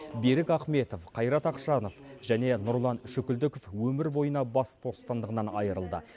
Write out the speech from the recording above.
берік ахметов қайрат ақшанов және нұрлан шүкілдіков өмір бойына бас бостандығынан айырылды